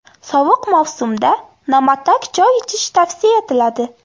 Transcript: Sovuq mavsumda na’matak choy ichish tavsiya etiladi.